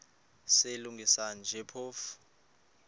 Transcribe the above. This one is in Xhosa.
silungisa nje phofu